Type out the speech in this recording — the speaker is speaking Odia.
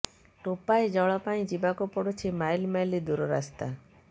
ଟୋପାଏ ଜଳ ପାଇଁ ଯିବାକୁ ପଡୁଛି ମାଇଲ ମାଇଲ ଦୂର ରାସ୍ତା